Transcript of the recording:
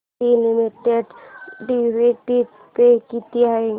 TT limited dividend pay किती आहे